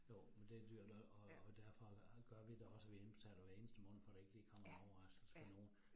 Jo, men det dyrt og og derfor gør vi det også, vi indbetaler hver eneste måned, for der ikke lige kommer en overraskelse for nogen